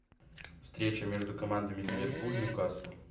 встреча между командами ливерпуль ньюкасл